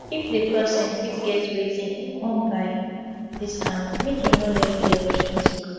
if di person fit get wetin im wan buy at discount make im no let the opportunity go